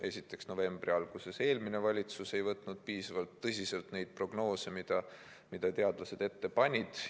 Esiteks, novembri alguses eelmine valitsus ei võtnud piisavalt tõsiselt prognoose, mida teadlased tegid.